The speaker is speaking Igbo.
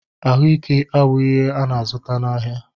Ahụike abụghị ihe a na-azụta n'ahịa